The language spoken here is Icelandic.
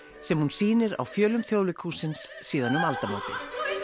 sem hún sýnir á fjölum Þjóðleikhússins síðan um aldamótin